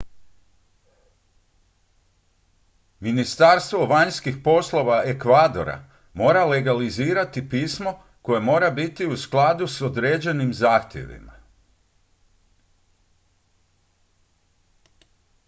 ministarstvo vanjskih poslova ekvadora mora legalizirati pismo koje mora biti u skladu s određenim zahtjevima